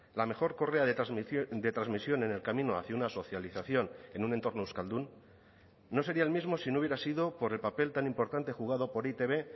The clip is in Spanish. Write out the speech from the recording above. la mejor correa de transmisión de transmisión en el camino hacia una socialización en un entorno euskaldun no sería el mismo si no hubiera sido por el papel tan importante jugado por e i te be